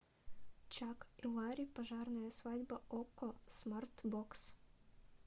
чак и ларри пожарная свадьба окко смарт бокс